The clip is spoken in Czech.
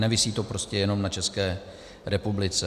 Nevisí to prostě jenom na České republice.